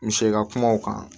N bɛ se ka kuma o kan